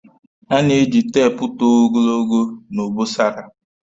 A na-eji teepu tụọ ogologo na obosara.